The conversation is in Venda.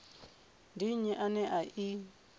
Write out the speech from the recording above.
ndi nnyi ane a i